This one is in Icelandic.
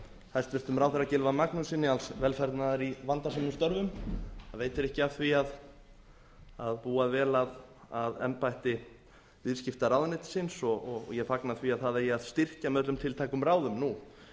hæstvirtum ráðherra gylfa magnússyni alls velfarnaðar í vandasömum störfum það veitir ekki af því að búa vel að embætti viðskiptaráðuneytisins og ég fagna því að það eigi að styrkja með öllum tiltækum ráðum nú